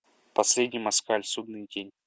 последний москаль судный день